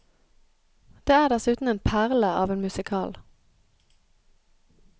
Det er dessuten en perle av en musical.